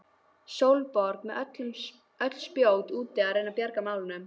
Sólborg með öll spjót úti að reyna að bjarga málunum.